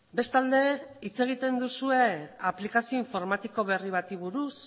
bestalde hitz egiten duzue aplikazio informatiko berri bati buruz